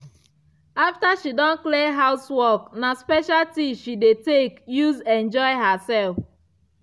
after she don clear housework na special tea she dey tek use enjoy herself.